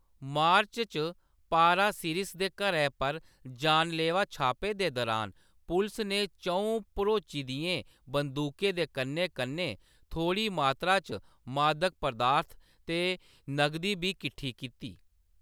मार्च च पारासिरिस दे घरै पर जानलेवा छापे दे दुरान, पुलस ने च'ऊं भरोची दियें बंदूकें दे कन्नै-कन्नै थोह्‌ड़ी मात्तरा च मादक पदार्थ ते नगदी बी किट्ठी कीती।